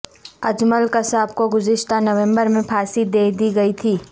اجمل قصاب کو گزشتہ نومبر میں پھانسی دے دی گئی تھی